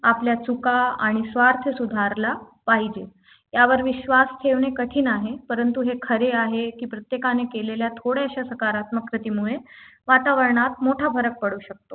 आपल्या चुका आणि स्वार्थ सुधारला पाहिजे त्यावर विश्वास ठेवणे कठीण आहे परंतु हे खरे आहे की प्रत्येकाने केलेल्या थोड्याशा सकारात्मक कृतीमुळे वातावरणात मोठा फरक पडू शकतो